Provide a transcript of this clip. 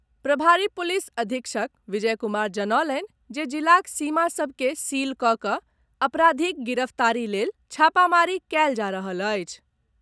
प्रभारी पुलिस अधीक्षक विजय कुमार जनौलनि जे जिलाक सीमा सभ के सील कऽ कऽ अपराधीक गिरफ्तारी लेल छापामारी कयल जा रहल अछि।